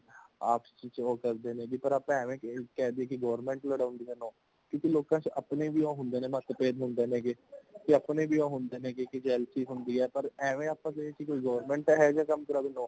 ਅਪਸੀਚ ਹੋ ਕਰ , ਆਪਾ ਐਵੇਂ ਕਹਿ ਦਇਏ ਕੀ government ਲੜਾਉਂਦੀ ਹੈ no ਕਿਉਂਕਿ ਲੋਕਾਂ ਵਿੱਚ ਅਪਣੇ ਵੀ ਹੋੰਦੇ ਨੇ ਮਤਬੇਦ ਹੋੰਦੇ ਹੇਗੇ, ਤੇ ਅਪਨੇਗ ਵੀ ਹੋੰਦੇ ਨੇ ਕੀ jealousy ਹੋਂਦੀ ਹੈ ਪਰ | ਐਵੇਂ ਆਪਾਂ ਕਹੇ ਦਇਏ ਕੀ government ਇਹ ਕੰਮ ਕਰਾਉਂਦੀ ਹੈ no